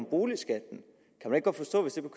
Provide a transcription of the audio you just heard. boligskatten